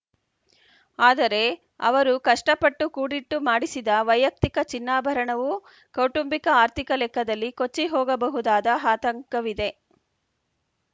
ಆದರೆ ಅವರು ಕಷ್ಟಪಟ್ಟು ಕೂಡಿಟ್ಟು ಮಾಡಿಸಿದ ವೈಯಕ್ತಿಕ ಚಿನ್ನಾಭರಣವೂ ಕೌಟುಂಬಿಕ ಆರ್ಥಿಕ ಲೆಕ್ಕದಲ್ಲಿ ಕೊಚ್ಚಿಹೋಗಬಹುದಾದ ಹಾತಂಕವಿದೆ